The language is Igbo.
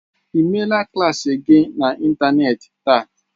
Ị meela klas gị n'ịntanetị taa?